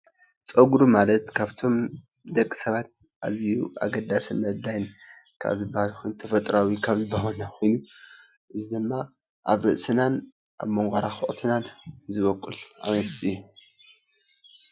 ፀጉሪ ማለት ካብቶም ደቂ ሰባት ኣዝዩ ኣገዳሲነት ካብ ዝባሃል ተፈጥራዊ ኮይኑ እዚ ድማ ኣብ ርእስናን ኣብ መኳራርዕትናን ዝውቅል ዓይነት እዩ።